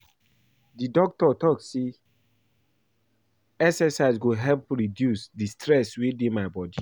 Di doctor tok sey exercise go help reduce di stress wey dey my bodi.